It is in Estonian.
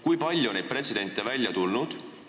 Kui palju on neid juhtumeid välja tulnud?